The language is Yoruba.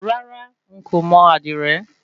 Rárá n kò mọ àdìrẹ.